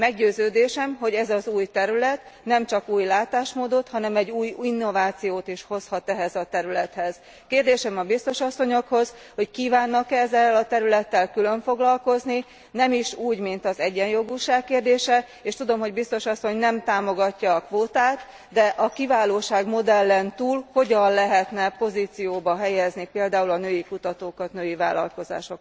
Meggyőződésem, hogy ez az új terület nem csak új látásmódot, hanem egy új innovációt is hozhat ehhez a területhez Kérdésem a biztos asszonyokhoz, hogy kívánnak e ezzel a területtel külön foglalkozni, nem is úgy, mint az egyenjogúság kérdése, és tudom, hogy biztos asszony nem támogatja a kvótát, de a kiválósági modellen túl hogyan lehetne pozícióba helyezni például a női kutatókat, női vállalkozókat?